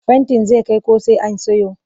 Fentin zai kai ko sai an siyo